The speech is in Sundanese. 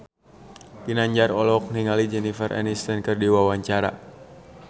Ginanjar olohok ningali Jennifer Aniston keur diwawancara